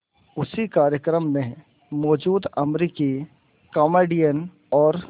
उसी कार्यक्रम में मौजूद अमरीकी कॉमेडियन और